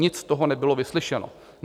Nic z toho nebylo vyslyšeno.